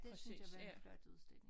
Det synes jeg var en flot udstilling